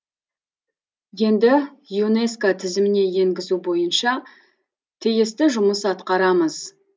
енді юнеско тізіміне енгізу бойынша тиісті жұмыс атқарамыз